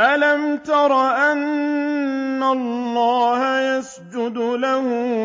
أَلَمْ تَرَ أَنَّ اللَّهَ يَسْجُدُ لَهُ